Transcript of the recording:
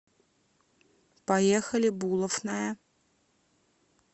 поехали булофная